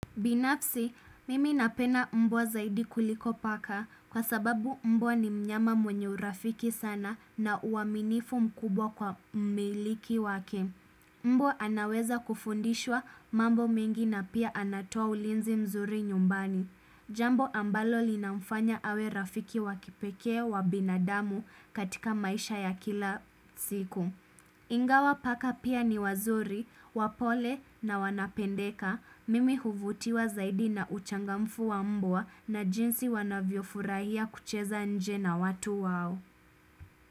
Binafsi, mimi napena mbwa zaidi kuliko paka kwa sababu mbwa ni mnyama mwenye urafiki sana na uaminifu mkubwa kwa mmiliki wake. Mbwa anaweza kufundishwa mambo mengi na pia anatoa ulinzi mzuri nyumbani. Jambo ambalo linamfanya awe rafiki wa kipekee wa binadamu katika maisha ya kila siku. Ingawa paka pia ni wazuri, wapole na wanapendeka, mimi huvutiwa zaidi na uchangamfu wa mbwa na jinsi wanavyo furahia kucheza nje na watu wao.